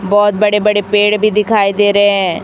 बहोत बड़े बड़े पेड़ भी दिखाई दे रहे--